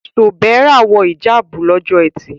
Sobeerah wọ hìjáàbù lọ́jọ́ ẹtì.